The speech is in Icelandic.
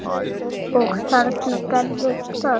Og þarna gerðist það.